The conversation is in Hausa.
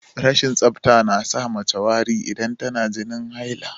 Rashin tsafta na sa mace yin wari idan tana jinin haila